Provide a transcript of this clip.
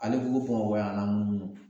Ale fugo fugo o y'an na munumunu